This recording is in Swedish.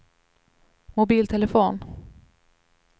mobiltelefon